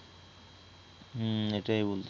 হম এইটাই বলি